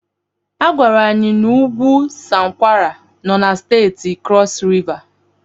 Agwara anyị na ugwu Sankwala no na Steeti Krọs Riva.